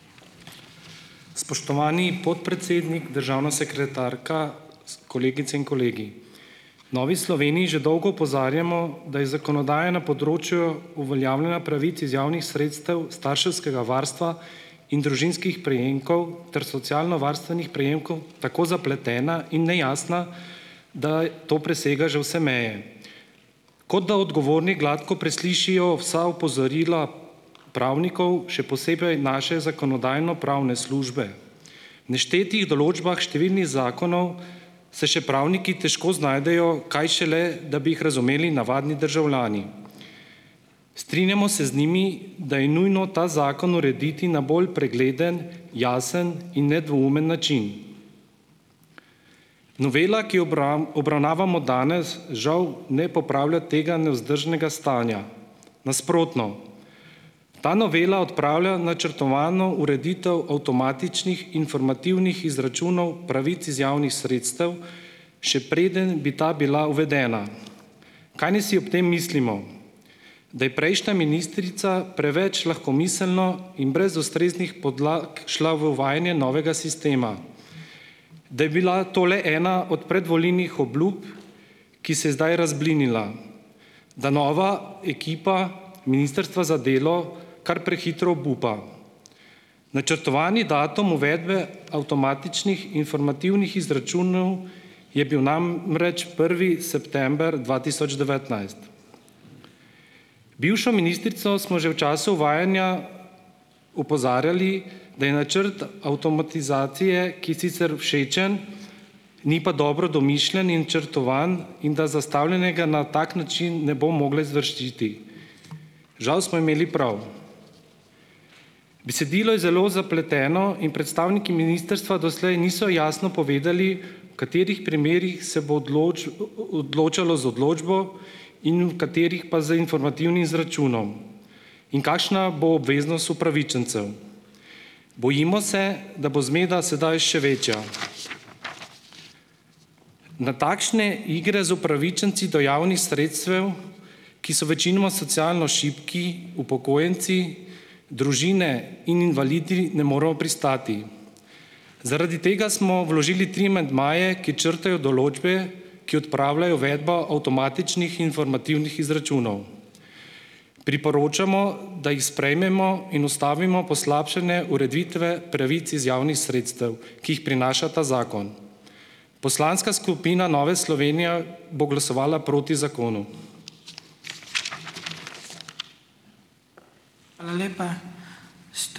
Spoštovani podpredsednik, državna sekretarka, kolegice in kolegi. V Novi Sloveniji že dolgo opozarjamo, da je zakonodaja na področju uveljavljanja pravic iz javnih sredstev, starševskega varstva in družinskih prejemkov ter socialnovarstvenih prejemkov tako zapletena in nejasna, da to presega že vse meje. Kot da odgovorni gladko preslišijo vsa opozorila pravnikov, še posebej naše zakonodajno-pravne službe. V neštetih določbah številnih zakonov se še pravniki težko znajdejo, kaj šele, da bi jih razumeli navadni državljani. Strinjamo se z njimi, da je nujno ta zakon urediti na bolj pregleden, jasen in nedvoumen način. Novela, ki jo obravnavamo danes, žal ne popravlja tega nevzdržnega stanja. Nasprotno. Ta novela odpravlja načrtovano ureditev avtomatičnih informativnih izračunov pravic iz javnih sredstev, še preden bi ta bila uvedena. Kaj naj si ob tem mislimo? Da je prejšnja ministrica preveč lahkomiselno in brez ustreznih podlag šla v uvajanje novega sistema. Da je bila to le ena od predvolilnih obljub, ki se je zdaj razblinila. Da nova ekipa Ministrstva za delo kar prehitro obupa. Načrtovani datum uvedbe avtomatičnih informativnih izračunov je bil namreč prvi september dva tisoč devetnajst. Bivšo ministrico smo že v času uvajanja opozarjali, da je načrt avtomatizacije, ki je sicer všečen, ni pa dobro domišljen in črtovan in da zastavljenega na tak način ne bo mogla izvršiti. Žav smo imeli prav. Besedilo je zelo zapleteno in predstavniki ministrstva doslej niso jasno povedali, v katerih primerih se bo odločalo z odločbo in v katerih pa z informativnim izračunom in kakšna bo obveznost upravičencev. Bojimo se, da bo zmeda sedaj še večja. Na takšne igre z upravičenci do javnih sredstev, ki so večinoma socialno šibki upokojenci, družine in invalidi, ne moremo pristati, zaradi tega smo vložili tri amandmaje, ki črtajo določbe, ki odpravljajo uvedbo avtomatičnih informativnih izračunov. Priporočamo, da jih sprejmemo in ustavimo poslabšane ureditve pravic iz javnih sredstev, ki jih prinaša ta zakon. Poslanska skupina Nove Slovenije bo glasovala proti zakonu.